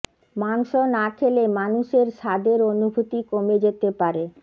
মাংস না খেলে মানুষের স্বাদের অনুভূতি কমে যেতে পারে